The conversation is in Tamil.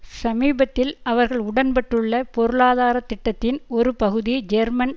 சமீபத்தில் அவர்கள் உடன்பட்டுள்ள பொருளாதார திட்டத்தின் ஒரு பகுதி ஜெர்மன்